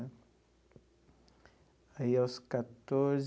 Aí, aos quatorze.